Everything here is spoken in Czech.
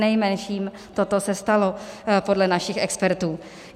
Přinejmenším toto se stalo podle našich expertů.